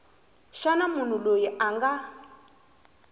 xa munhu loyi a nga